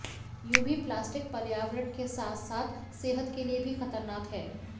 यूं भी प्लास्टिक पर्यावरण के साथ साथ सेहत के लिए भी खतरनाक है